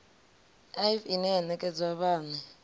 ḽivi ine ya nekedzwa vhane